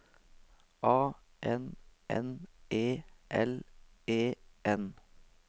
A N N E L E N